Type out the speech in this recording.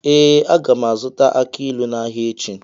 Ee, a ga m azụta aki ilu n’ahịa echi.